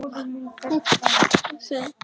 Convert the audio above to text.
En hvað þýðir hún?